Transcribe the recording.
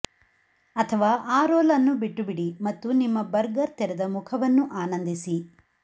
ಅಥವಾ ಆ ರೋಲ್ ಅನ್ನು ಬಿಟ್ಟುಬಿಡಿ ಮತ್ತು ನಿಮ್ಮ ಬರ್ಗರ್ ತೆರೆದ ಮುಖವನ್ನು ಆನಂದಿಸಿ